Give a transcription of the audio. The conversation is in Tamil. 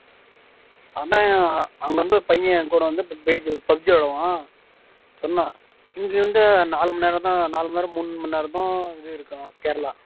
ஆனா அங்க வந்து பையன் என்கூட வந்து விளையாடுவான் சொன்னா இங்க இருந்து நாலு மணி நேரம் தான் நாலு மணி நேரம் மூணுமணி நேரம்தா இது இருக்கா கேரளா